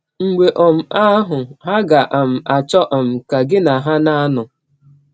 Mgbe um ahụ, ha ga um - achọ um ka gị na ha na - anọ.